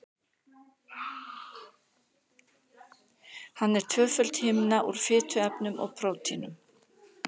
Hann er tvöföld himna úr fituefnum og prótínum.